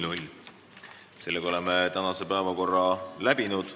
Oleme päevakorrapunktide menetlemise lõpetanud.